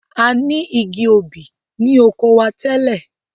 A ni igi obì ni oko wa tẹ́lẹ̀.